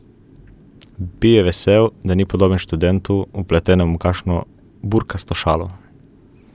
Bil je vesel, da ni podoben študentu, vpletenemu v kakšno burkasto šalo.